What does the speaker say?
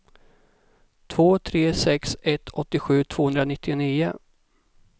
två tre sex ett åttiosju tvåhundranittionio